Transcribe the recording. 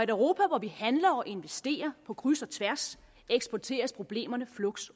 europa hvor vi handler og investerer på kryds og tværs eksporteres problemerne fluks